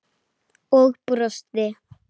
Og brosti.